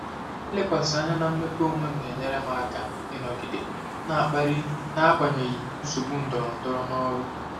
Ilekwasị anya na mmepe onwe m na-enyere m aka ịnọgide na-akpali n'agbanyeghị nsogbu ndọrọndọrọ n'ọrụ.